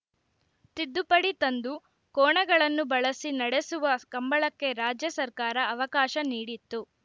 ತಿದ್ದುಪಡಿ ತಂದು ಕೋಣಗಳನ್ನು ಬಳಸಿ ನಡೆಸುವ ಕಂಬಳಕ್ಕೆ ರಾಜ್ಯ ಸರ್ಕಾರ ಅವಕಾಶ ನೀಡಿತ್ತು